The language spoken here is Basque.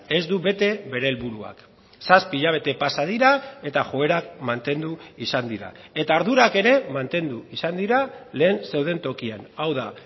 ez du bete bere helburuak zazpi hilabete pasa dira eta joerak mantendu izan dira eta ardurak ere mantendu izan dira lehen zeuden tokian hau da